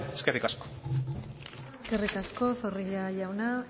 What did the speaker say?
eskerrik asko eskerrik asko zorrilla jauna